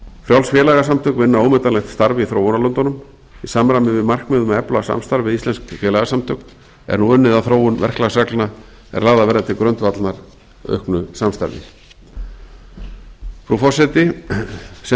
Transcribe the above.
frjáls félagasamtök vinna ómetanlegt starf í þróunarlöndunum í samræmi við markmið um að efla samstarf við íslensk félagasamtök er nú unnið að þróun verklagsreglna er lagðar verða til grundvallar auknu samstarfi frú forseti sem